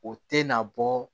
O tɛ na bɔ